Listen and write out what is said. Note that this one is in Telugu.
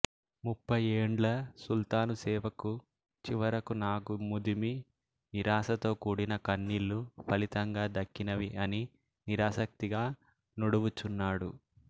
ముప్పైఏండ్ల సుల్తాను సేవకు చివరకు నాకు ముదిమి నిరాసతో కూడిన కన్నిళ్ళు ఫలితంగా దక్కినవి అని నిరాసక్తిగా నుడువుచున్నాడు